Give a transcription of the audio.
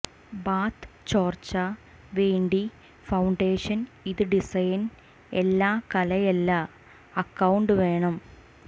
ബാത്ത് ചോർച്ച വേണ്ടി ഫൌണ്ടേഷൻ ഇത് ഡിസൈൻ എല്ലാ കലയല്ല അക്കൌണ്ട് വേണം